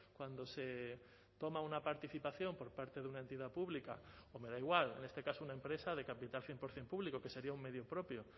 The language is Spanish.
cuando se toma una participación por parte de una entidad pública o me da igual en este caso una empresa de capital cien por ciento público que sería un medio propio